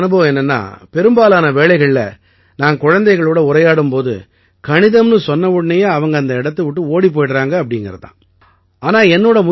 இதில என்னோட அனுபவம் என்னென்னா பெரும்பாலான வேளைகள்ல நான் குழந்தைகளோட உரையாடும் போது கணிதம்னு சொன்னவுடனேயே அவங்க அந்த இடத்தை விட்டு ஓடிப் போயிடறாங்க அப்படீங்கறது தான்